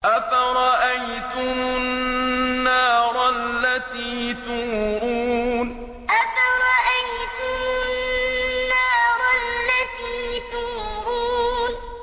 أَفَرَأَيْتُمُ النَّارَ الَّتِي تُورُونَ أَفَرَأَيْتُمُ النَّارَ الَّتِي تُورُونَ